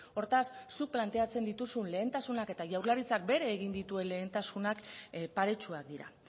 hortaz zuk planteatzen dituzun lehentasunak eta jaurlaritzak bere egin dituen lehentasunak paretsuak dira